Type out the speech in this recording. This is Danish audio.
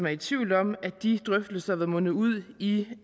er i tvivl om at de drøftelser ville munde ud i